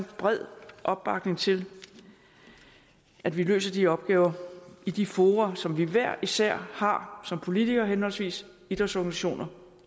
bred opbakning til at vi løser de opgaver i de fora som vi hver især har som politikere henholdsvis idrætsorganisationer